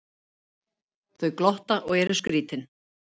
Þau glotta og eru skrítin.